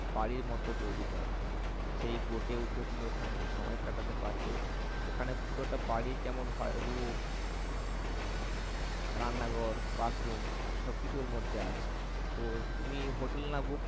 বাড়ির মতন তৈরি করা। সেই boat এ উঠে তুমি ওখানে কিছু সময় কাতাতে পারবে ওখানে পুরোটা বাড়ি যেমন হয় room রান্নাঘর bathroom সবকিছু ওর মধ্যে আছে। তো তুমি হোটেল না book